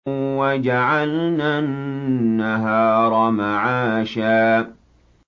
وَجَعَلْنَا النَّهَارَ مَعَاشًا